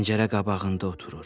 Pəncərə qabağında oturur.